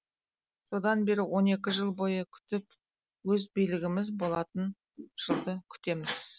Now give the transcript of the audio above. содан бері он екі жыл бойы күтіп өз билігіміз болатын жылды күтеміз